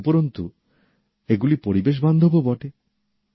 উপরন্তু এগুলি পরিবেশবান্ধবও বটে